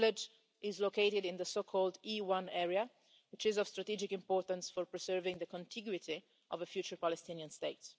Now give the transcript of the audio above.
The village is located in the so called E1' area, which is of strategic importance for preserving the contiguity of a future Palestinian state.